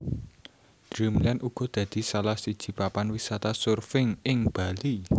Dreamland uga dadi salah siji papan wisata surfing ing Bali